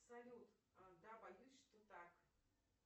салют да боюсь что так